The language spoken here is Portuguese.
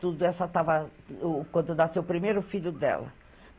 Quando nasceu o primeiro, o filho dela.